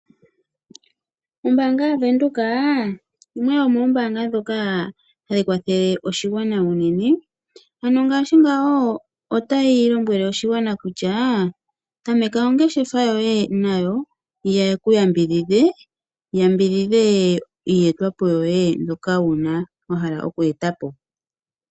Ombaanga yaVenduka yimwe yomoombaanga ndhoka hadhi kwathele oshigwana unene ano ngaashi ngawo otayi lombwele oshigwana kutya tameka ongeshefa yoye nayo, ye ku yambidhidhe, ya yambidhidhe iiyetwa po yoye mbyoka wuna, wa hala okweeta po.